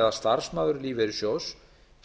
eða starfsmaður lífeyrissjóðs